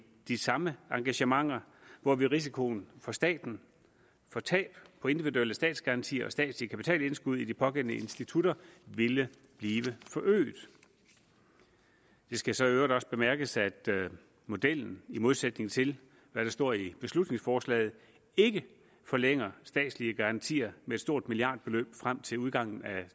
de samme engagementer hvorved risikoen for staten for tab på individuelle statsgarantier og statslige kapitalindskud i de pågældende institutter ville blive forøget det skal så i øvrigt også bemærkes at modellen i modsætning til hvad der står i beslutningsforslaget ikke forlænger statslige garantier med et stort milliardbeløb frem til udgangen af